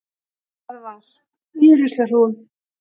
Það var. í ruslahrúgu.